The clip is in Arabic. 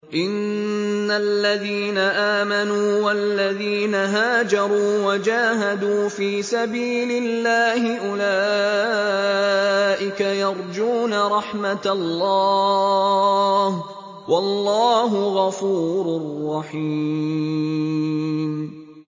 إِنَّ الَّذِينَ آمَنُوا وَالَّذِينَ هَاجَرُوا وَجَاهَدُوا فِي سَبِيلِ اللَّهِ أُولَٰئِكَ يَرْجُونَ رَحْمَتَ اللَّهِ ۚ وَاللَّهُ غَفُورٌ رَّحِيمٌ